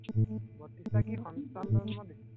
বত্ৰিশটা কি সন্তান জন্ম দিছে।